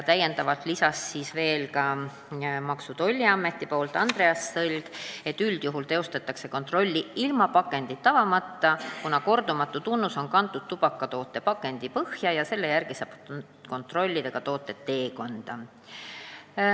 Maksu- ja Tolliameti esindaja Andreas Sõlg lisas, et üldjuhul tehakse kontrolli ilma pakendit avamata, kuna kordumatu tunnus on kantud pakendi põhjale ja selle järgi saab kontrollida toote teekonda.